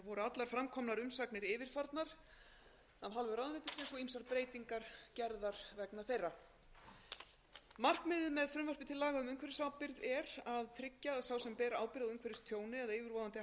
allar fram komnar umsagnir yfirfarnar af hálfu ráðuneytisins og ýmsar breytingar gerðar vegna þeirra markmiðið með frumvarpi til laga um umhverfisábyrgð er að tryggja að sá sem ber ábyrgð á umhverfistjóni eða yfirvofandi hættu á umhverfistjóni komi í veg fyrir tjón eða bæti úr